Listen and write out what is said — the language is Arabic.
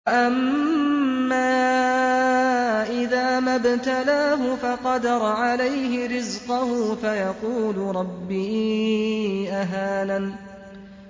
وَأَمَّا إِذَا مَا ابْتَلَاهُ فَقَدَرَ عَلَيْهِ رِزْقَهُ فَيَقُولُ رَبِّي أَهَانَنِ